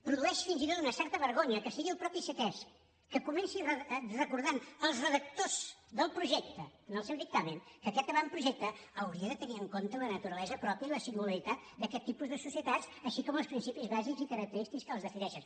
produeix fins i tot una certa vergonya que sigui el mateix ctesc que comenci recordant als redactors del projecte en el seu dictamen que aquest avantprojecte hauria de tenir en compte la naturalesa pròpia i la singularitat d’aquest tipus de societats així com els principis bàsics i característics que les defineixen